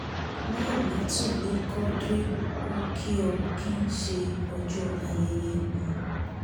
láìlàtù li quadr o kì o kì ń ṣe ọjọ́ ayẹyẹ um